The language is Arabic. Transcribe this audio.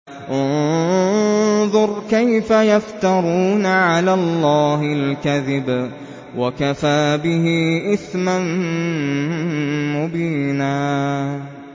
انظُرْ كَيْفَ يَفْتَرُونَ عَلَى اللَّهِ الْكَذِبَ ۖ وَكَفَىٰ بِهِ إِثْمًا مُّبِينًا